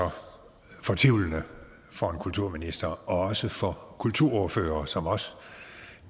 fortvivlende for en kulturminister og også for kulturordførere som os